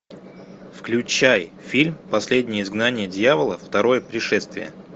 включай фильм последнее изгнание дьявола второе пришествие